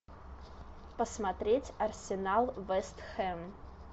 посмотреть арсенал вест хэм